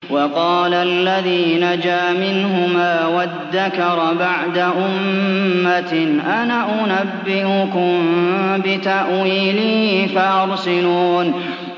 وَقَالَ الَّذِي نَجَا مِنْهُمَا وَادَّكَرَ بَعْدَ أُمَّةٍ أَنَا أُنَبِّئُكُم بِتَأْوِيلِهِ فَأَرْسِلُونِ